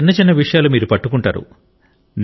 ఇంత చిన్న చిన్న విషయాలు మీరు పట్టుకుంటారు